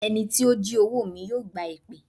Ẹni tí ó jí owó mi yóò gba èpè.